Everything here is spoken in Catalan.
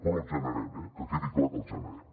però els generem eh que quedi clar que els generem